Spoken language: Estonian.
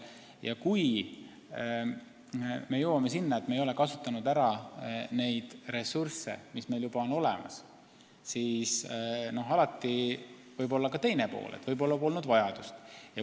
Ja kui me jõuame sinnani, et me ei ole ära kasutanud neid ressursse, mis meil on olemas, siis alati võib olla ka teine pool: võib-olla polnud vajadust.